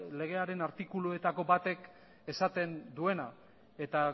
legearen artikuluetako batek esaten duena eta